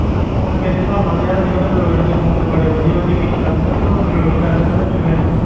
Phone ਮੇਰੇ ਹਿਸਾਬ ਨਾਲ ਤਾਂ ਯਾਰ ਅੱਜ ਕੱਲ੍ਹ android ਦੇ phone ਤੇ ਬੜੇ ਵਧੀਆ ਵਧੀਆ feature ਆਉਂਦੇੇ ਤਾਂ ਤੈਨੂੰ android ਲੈ ਲੈਣਾ ਚਾਹੀਦਾ ਕੋਈ ਵੈਸੇ।